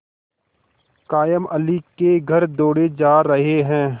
कायमअली के घर दौड़े जा रहे हैं